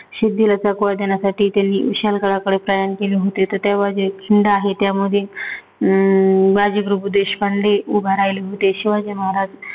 साठी त्यांनी विशालगडाकडे प्रयाण केले होते. त तेव्हाचे जे छंद आहेत त्यामध्ये अं बाजीप्रभू देशपांडे उभा राहिला होते. शिवाजी महाराज